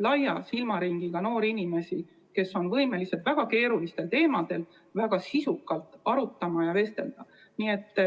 laia silmaringiga noori inimesi, kes on võimelised väga keerulistel teemadel väga sisukalt arutama ja vestlema.